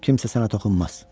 Kimsə sənə toxunmaz.